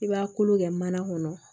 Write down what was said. I b'a kolo kɛ mana kɔnɔ